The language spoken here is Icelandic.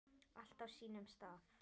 Allt á sínum stað.